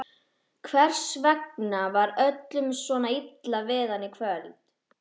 Hvers vegna var öllum svona illa við hann í kvöld?